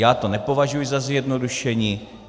Já to nepovažuji za zjednodušení.